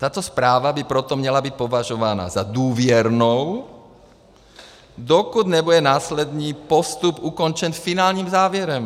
Tato zpráva by proto měla být považována za důvěrnou, dokud nebude následný postup ukončen finálním závěrem.